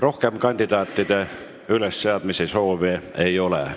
Rohkem kandidaatide ülesseadmise soove ei ole.